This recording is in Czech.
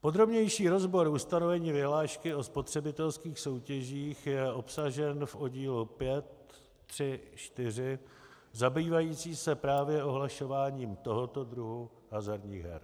Podrobnější rozbor ustanovení vyhlášky o spotřebitelských soutěžích je obsažen v oddílu 5.3.4.zabývajícím se právě ohlašováním tohoto druhu hazardních her.